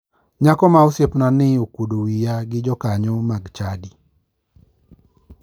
Nyako ma osiepnani ne okuodo wiya gi jokanyo mag chadi.